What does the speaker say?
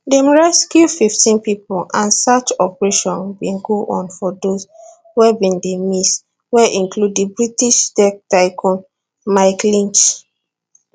dem rescue fifteen pipo and search operation bin go on for dose wey bin dey miss wey include di british tech tycoon mike lynch